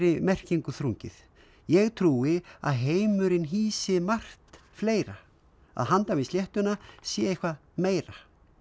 merkingu þrungið ég trúi að heimurinn hýsi margt fleira að handan við sléttuna sé eitthvað meira